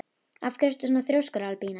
Af hverju ertu svona þrjóskur, Albína?